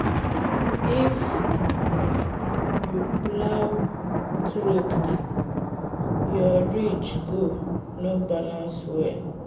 if you plow crooked your ridge go no balance well.